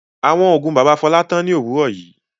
Àwọn oògùn bàbá Fọlá tán ní òwúrọ̀ yìí.